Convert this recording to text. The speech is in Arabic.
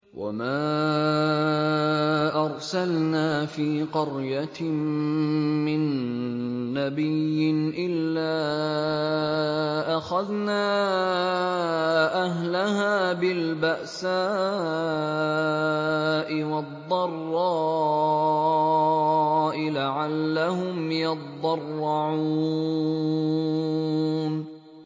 وَمَا أَرْسَلْنَا فِي قَرْيَةٍ مِّن نَّبِيٍّ إِلَّا أَخَذْنَا أَهْلَهَا بِالْبَأْسَاءِ وَالضَّرَّاءِ لَعَلَّهُمْ يَضَّرَّعُونَ